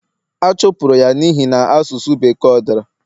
a chụpụrụ ya n'ihi na asụsụ Bekee o dara